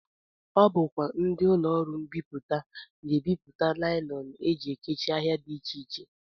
Ọ bụkwa ndị ụlọọrụ mbipụta na-ebipụta naịlọn e ji ekechi ahịa dị iche iche